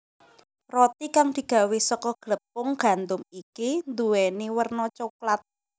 Roti kang digawé saka glepung gandum iki nduwèni werna coklat